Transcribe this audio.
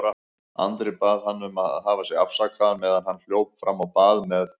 Andri bað hann að hafa sig afsakaðan meðan hann hljóp fram á bað með